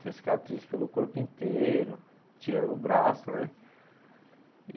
Tem cicatriz pelo corpo inteiro, tirando o braço né.